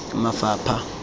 mafapha